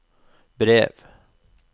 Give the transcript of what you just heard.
brev